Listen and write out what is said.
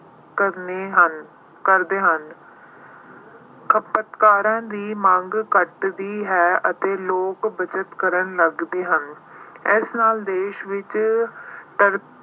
ਕਰਨੇ ਹਨ, ਕਰਦੇ ਹਨ। ਖਪਤਕਾਰਾਂ ਦੀ ਮੰਗ ਘਟਦੀ ਹੈ ਅਤੇ ਲੋਕ ਬੱਚਤ ਕਰਨ ਲਗਦੇ ਹਨ। ਇਸ ਨਾਲ ਦੇਸ਼ ਵਿੱਚ ਅਹ